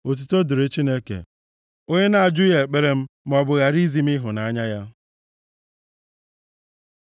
Otuto dịrị Chineke, onye na-ajụghị ekpere m maọbụ ghara izi m ịhụnanya ya!